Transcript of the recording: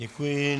Děkuji.